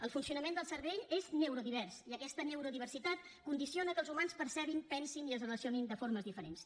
el funcionament del cervell és neurodivers i aquesta neurodiversitat condiciona que els humans percebin pensin i es relacionin de formes diferents